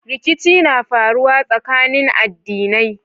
Rikici na faruwa tsakanin adinai